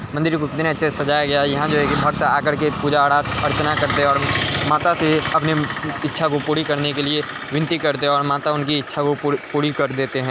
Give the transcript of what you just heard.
मंदिर को कितने अच्छे से सजाया गया है। यहाँ जो है कि भक्त आकर के पूजा अर्चना करते हैं और माता से अपनी इच्छा को पूरी करने के लिए विनती करते हैं और माता उनकी इच्छा को पुड़ी पुड़ी कर देते हैं।